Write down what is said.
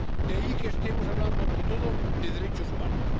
De ahí que estemos hablando ante todo de derechos humanos.